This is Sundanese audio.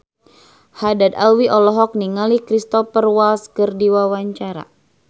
Haddad Alwi olohok ningali Cristhoper Waltz keur diwawancara